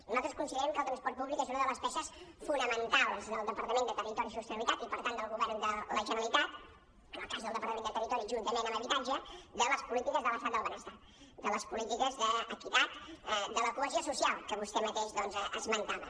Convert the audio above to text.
i nosaltres considerem que el transport públic és una de les peces fonamentals del departament de territori i sostenibilitat i per tant del govern de la generalitat en el cas del departament de territori juntament amb habitatge de les polítiques de l’estat del benestar de les polítiques d’equitat de la cohesió social que vostè mateix doncs esmentava